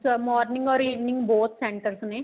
morning or evening both centers ਨੇ